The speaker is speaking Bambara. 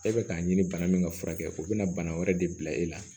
E bɛ k'a ɲini bana min ka furakɛ o bɛ na bana wɛrɛ de bila e la